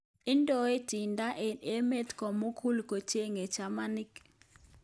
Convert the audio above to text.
Indoi Tinder eng emeet komugul kechengee chamaniik